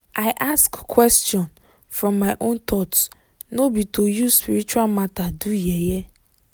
i ask question from my own thought no be to use spiritual matter do yeye